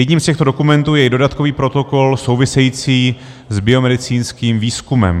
Jedním z těchto dokumentů je i dodatkový protokol související s biomedicínským výzkumem.